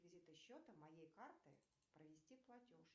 счета моей карты провести платеж